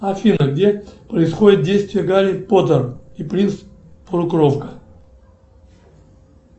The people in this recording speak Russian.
афина где происходит действие гарри поттер и принц полукровка